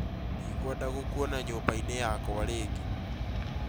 Ndikwenda gũkuona nyũmba-inĩ yakwa rĩngĩ